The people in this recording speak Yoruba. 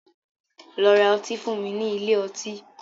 Lọ ra ọtí fún mi nílé ọtí.